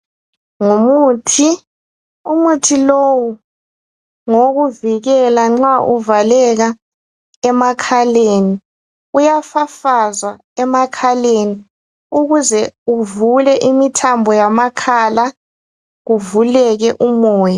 Ngumuthi, umuthi lo ngowokuvikela nxa uvaleka emakhaleni. Uyafafazwa emakhaleni ukuze uvule imithambo yamakhala kuvuleke umoya.